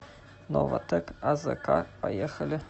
новатэк азк поехали